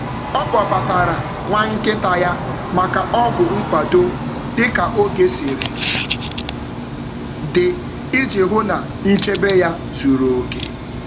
Ọ kpọbatara nwa nkịta ya maka ọgwụ nkwado dị ka oge siri dị iji hụ na nchebe ya zuru oke.